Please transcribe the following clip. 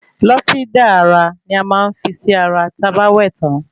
Lọ́fíndà ara ní a máa ń fín sí ara tí a bá wẹ tán